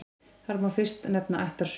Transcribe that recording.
Þar má fyrst nefna ættarsögu.